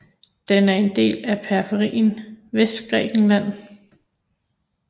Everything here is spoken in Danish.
Den er en del af periferien Vestgrækenland